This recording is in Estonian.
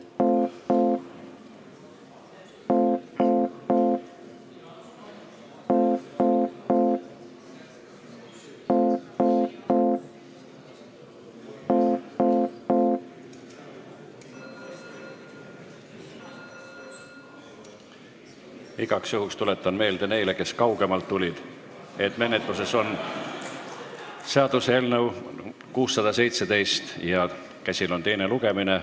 Igaks juhuks tuletan meelde neile, kes kaugemalt tulid, et menetluses on seaduseelnõu 617 ja käsil on teine lugemine.